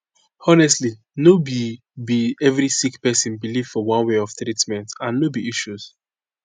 honestly no be be every sick pesin belief for one way of treatment and no be issues